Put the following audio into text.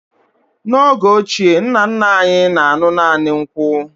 N'oge ochie, nna nna anyị na-aṅụ naanị nkwụ